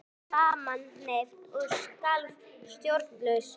Ég lá samanherpt og skalf stjórnlaust.